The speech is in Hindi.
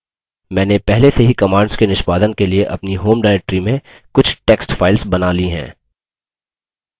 मैंने पहले से ही commands के निष्पादन के लिए अपनी home directory में कुछ text files बना ली हैं